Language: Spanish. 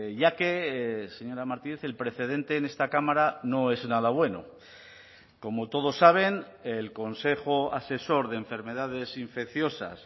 ya que señora martínez el precedente en esta cámara no es nada bueno como todos saben el consejo asesor de enfermedades infecciosas